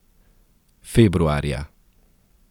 Februarja.